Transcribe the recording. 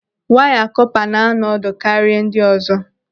Waya kọpa na-anọ ọdụ karịa ndị ọzọ.